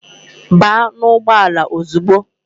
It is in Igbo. Baa n'ugbọala ozugbo!